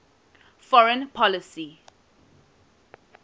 foreign policy